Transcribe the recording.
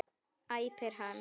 æpir hann.